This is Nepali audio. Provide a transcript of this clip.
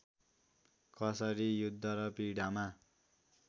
कसरी युद्ध र पीडामा